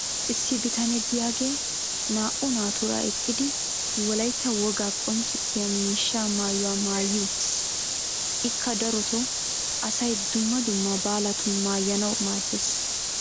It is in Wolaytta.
issi bitanee diyaagee naa"u naatuura eqqidi wolaytta wogaa qonccissiyaa miishshaa maayuwaa maayi uttiis. ikka darotoo asay dumma dumma baalatun maayanawu maadees.